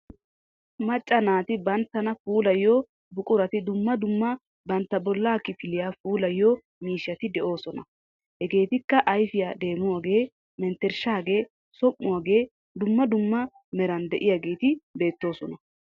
Macca naati banttana puulayiyo buqurati dumma dumma bantta bollaa kifiliyaa puulayiyo miishshati de'oosona. Hegeetikka ayfiya deemuwaagee menttershshaagee som"uwaagee dumma dumma meran de"iyaageeti beettoosona.